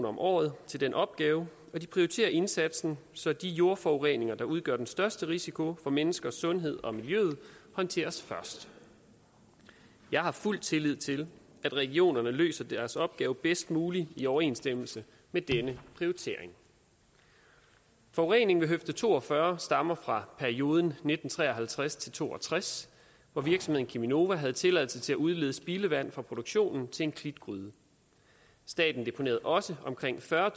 om året til den opgave og de prioriterer indsatsen så de jordforureninger der udgør den største risiko for menneskers sundhed og miljøet håndteres først jeg har fuld tillid til at regionerne løser deres opgaver bedst muligt i overensstemmelse med denne prioritering forureningen ved høfde to og fyrre stammer fra perioden nitten tre og halvtreds til to og tres hvor virksomheden cheminova havde tilladelse til at udlede spildevand fra produktionen til en klitgryde staten deponerede også omkring fyrre